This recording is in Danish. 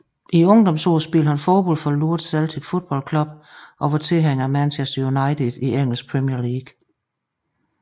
I ungdomsårene spillede han fodbold for Lourdes Celtic Football Club og var tilhænger af Manchester United i engelsk Premier League